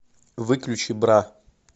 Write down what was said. выключи бра